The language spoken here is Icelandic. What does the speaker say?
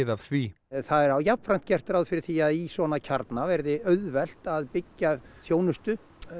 af því það er jafnframt gert ráð fyrir því að í svona kjarna verði auðvelt að byggja upp þjónustu